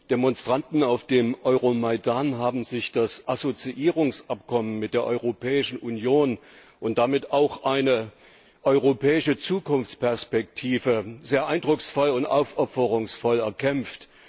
Die Demonstranten auf dem Euro Maidan haben sich das Assoziierungsabkommen mit der Europäischen Union und damit auch eine europäische Zukunftsperspektive sehr eindrucksvoll und aufopferungsvoll erkämpft.